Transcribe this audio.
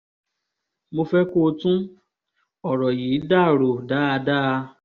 mo fẹ́ kó tún ọ̀rọ̀ yìí dà rò dáadáa